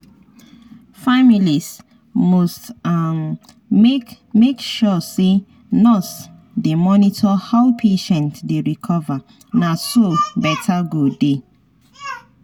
families must um make make sure say nurse dey monitor how patient dey recover na so better go dey.